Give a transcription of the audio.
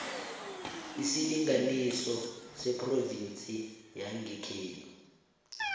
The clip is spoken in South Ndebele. isilinganiso sephrovinsi yangekhenu